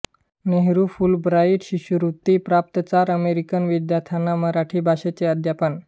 नेहरूफुलब्राईट शिष्यवृत्ती प्राप्त चार अमेरिकन विद्यार्थ्यांना मराठी भाषेचे अध्यापन